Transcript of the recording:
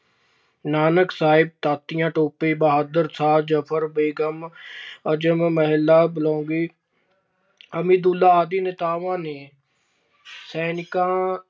ਨਾਨਕ ਸਾਹਿਬ, ਤਾਂਤੀਆ ਟੋਪੇ, ਬਹਾਦਰ ਸ਼ਾਹ ਜਫ਼ਰ, ਬੇਗਮ ਅਜਮ ਮਹਿਲਾ ਬਲੌਂਗੀ ਅਭਿਦੁੱਲ੍ਹਾ ਆਦਿ ਨੇਤਾਵਾਂ ਨੇ ਸੈਨਿਕਾਂ